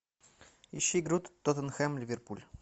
ищи игру тоттенхэм ливерпуль